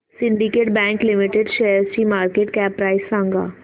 Syndicate bank limited शेअरची market cap price सांगा